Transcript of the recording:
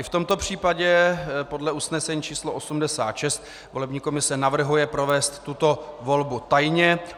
I v tomto případě podle usnesení číslo 86 volební komise navrhuje provést tuto volbu tajně.